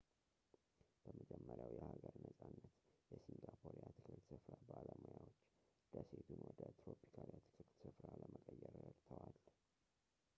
በመጀመሪያው የሀገር ነጻነት የሲንጋፖር የአትክልት ስፍራ ባለሙያዎች ደሴቱን ወደ ትሮፒካል የአትክልት ስፍራ ለመቀየር ረድተዋል